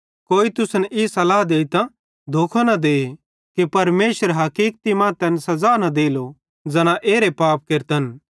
कोई तुसन ई सल्लाह देइतां धोखो न दे कि परमेशरे हकीकति मां तैन सज़ा न देलो ज़ैना एरे पाप केरतन